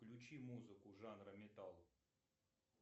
включи музыку жанра метал